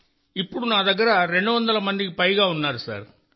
ఇప్పుడు నా దగ్గర రెండు వందల మందికి పైగా ఉన్నారు సార్